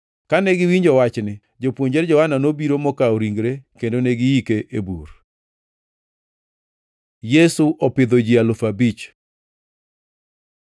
Kane giwinjo wachni, jopuonjre Johana nobiro mokawo ringre kendo ne giike e bur. Yesu opidho ji alufu abich